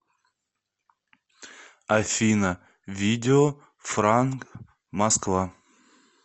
афина видео франк москва